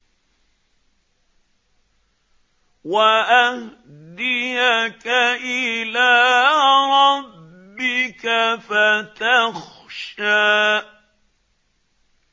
وَأَهْدِيَكَ إِلَىٰ رَبِّكَ فَتَخْشَىٰ